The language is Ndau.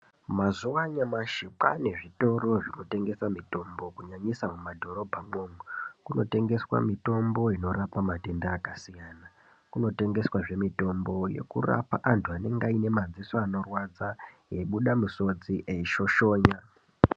Mazuwa anyamashi kwaane zvitoro zvinotengesa mitombo kunyanyisa mumadhorobhamwomwo. Kunotengeswa mitombo inorapa matenda akasiyana. Kunotengeswazve mitombo yekurapa antu anenga aine madziso anorwadza, eibuda misodzi, eishoshonya.